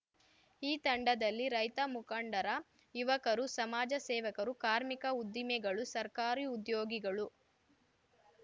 ಈ ತಂಡದಲ್ಲಿ ರೈತ ಮುಖಂಡರ ಯುವಕರು ಸಮಾಜ ಸೇವಕರು ಕಾರ್ಮಿಕರು ಉದ್ದಿಮೆಗಳು ಸರ್ಕಾರಿ ಉದ್ಯೋಗಿಗಗಳು